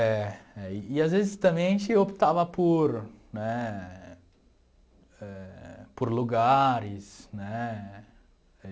É é, e às vezes também a gente optava por né eh... Por lugares, né?